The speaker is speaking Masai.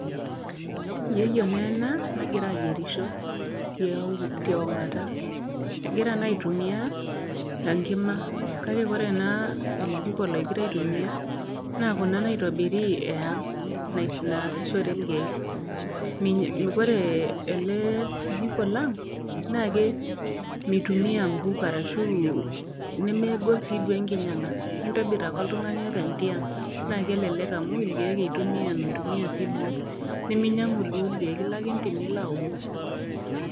Yieyio naa ena nagira ayierisho tiaulo, teong'ata. Egira naa aitumia enkima, kake Kore enaa jiko nagira aitumia naa Kuna naitobiri e aang' naasishore ilkeek. Naa ore ele jiko lang meitumia ilkeek arashu nemegol sii duo enkinyang'a, intobir ake oltang'ani openy tiang' naa kelelek amu ilkeek itumia mintumia sii duo, niminyang'u sii duo ilkeek, ilo ake entim niilo aumu.